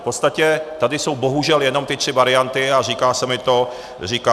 V podstatě tady jsou bohužel jenom ty tři varianty, a říká se mi to nelehko.